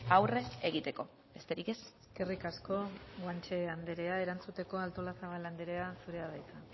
aurren egiteko besterik ez eskerrik asko guanche anderea erantzuteko artolazabal andrea zurea da hitza